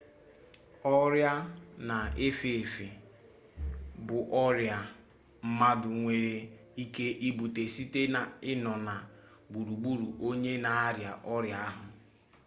ọrịa na-efe efe bụ ọrịa mmadụ nwere ike ibute site n'ịnọ na gburugburu onye na-arịa oria ahụ